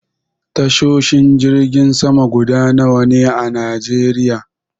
Tashoshin jirgin sama guda nawa ne a najeriya?